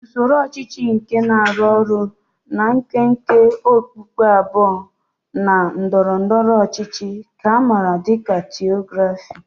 Usoro ọchịchị nke na-arụ ọrụ na nkwenkwe okpukpe abụọ na ndọrọ ndọrọ ọchịchị ka a maara dị ka Theocracy.